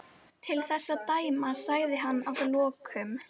Til þess að dæma sagði hann að lokum.